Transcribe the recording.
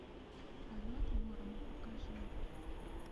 полет ворона покажи